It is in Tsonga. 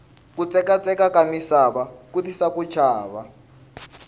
kutsekatsekaka misava ku tisa ku chava